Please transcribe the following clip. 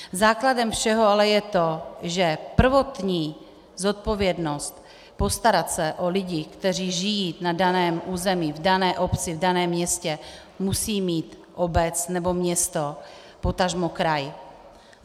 Základem všeho ale je to, že prvotní zodpovědnost postarat se o lidi, kteří žijí na daném území, v dané obci, v daném městě, musí mít obec nebo město, potažmo kraj.